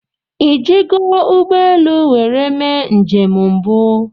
ị ji go ụgbọ elu nwere mee njem mbụ?